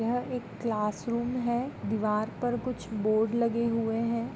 यह एक क्लासरूम है दीवार पे कुछ बोर्ड लगे हुए है।